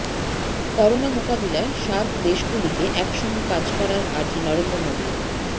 corona মোকাবিলায় সার্ক দেশগুলিকে একসঙ্গে কাজ করার আর্জি নরেন্দ্র মোদির